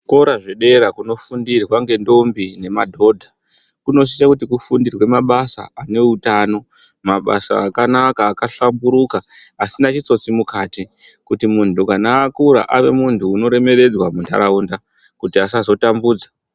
Zvikora zvedera kunofundirwa ngentombi nemadhodha kunosise kuti kufundirwe mabasa aneutano mabasa akanaka akahlamburuka asina chitsotsi mukati kuti muntu kana akura ave muntu unoremeredzwa mundaraunda kuti asazo tambudza.